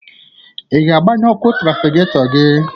Ị ga-agbanye ọkụ trafiketọ gị?